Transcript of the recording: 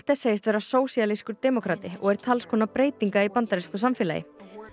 segist vera sósíalískur demókrati og er talskona breytinga í bandarísku samfélagi